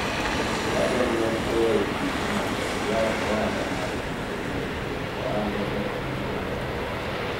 owadwa ne oweyo tich mondo oyaw ohala mar uso wuoch to ohande no dhi maber